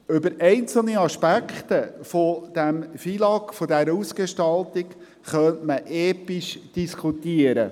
Über einzelne Aspekte dieses FILAG, dieser Ausgestaltung, könnte man episch diskutieren.